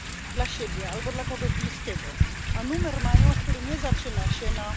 dla siebie albo dla kogoś bliskiego, a mają numer, który nie zaczyna się na